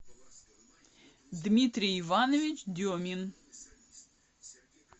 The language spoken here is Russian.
дмитрий иванович демин